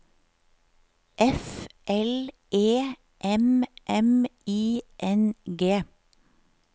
F L E M M I N G